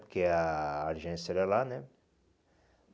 Porque a a agência era lá, né?